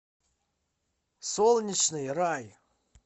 солнечный рай